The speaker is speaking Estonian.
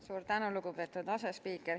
Suur tänu, lugupeetud asespiiker!